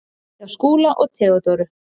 Hjá Skúla og Theodóru.